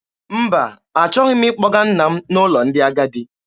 Mba, achọghị m ịkpọga nna m n'ụlọ ndị agadi.